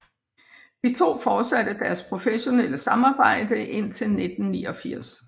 De to fortsatte deres professionelle samarbejde indtil 1989